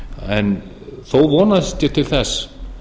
en þó vonast ég til þess